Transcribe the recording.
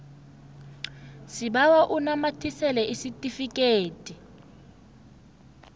sibawa unamathisele isitifikedi